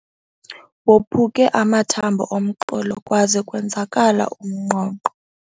Waphuke amathambo omqolo kwaze kwenzakala umnqonqo.